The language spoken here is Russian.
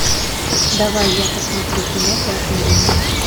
давай я посмотрю кино пятый элемент